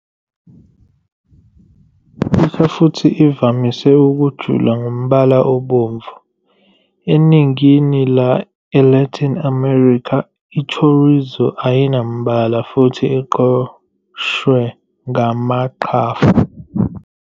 Isha futhi ivamise ukujula ngombala obomvu, eningini le-Latin America, i-chorizo ayinambala futhi iqoshwe ngamaqhafu.